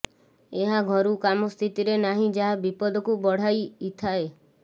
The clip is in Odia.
ଏହା ଘରୁ କାମ ସ୍ଥିତିରେ ନାହିଁ ଯାହା ବିପଦକୁ ବଢାଇଇଥାଏ